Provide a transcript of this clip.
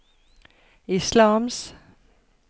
islams